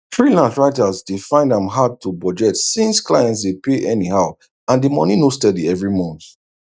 freelance writers dey find am hard to budget since clients dey pay anyhow and the money no steady every month